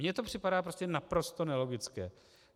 Mně to připadá prostě naprosto nelogické.